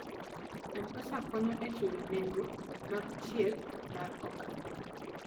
M-Pesa konyo e chulo nengo mag thieth mag oganda.